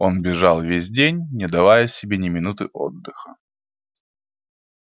он бежал весь день не давая себе ни минуты отдыха